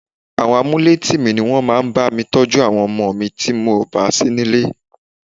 Àwọn amuletìmí ní wọn máa ń bá mi tọ́jú àwọn ọmọ mi tí mò bà sí nílé.